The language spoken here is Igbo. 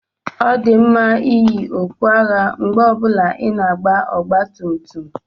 Ọ dị mma iyi okpu agha mgbe ọ bụla ị na-agba ọgba tum tum.